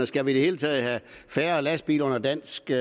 skal vi i det hele taget have færre lastbiler under danske